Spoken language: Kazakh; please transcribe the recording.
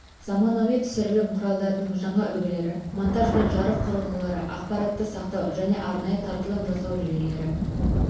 заманауи түсірілім құралдарының жаңа үлгілері монтаж бен жарық құрылғылары ақпаратты сақтау және арнайы таратылым жасау жүйелері